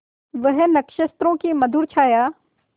वह नक्षत्रों की मधुर छाया